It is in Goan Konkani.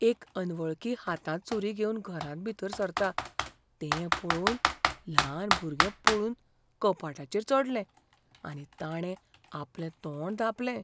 एक अनवळखी हातांत सूरी घेवन घरांत भितर सरता तें पळोवन ल्हान भुरगें पळून कपाटाचेर चडलें आनी ताणें आपलें तोंड धांपलें.